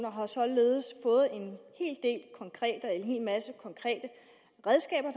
har således fået en hel masse konkrete redskaber